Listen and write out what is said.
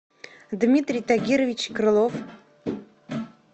дмитрий тагирович крылов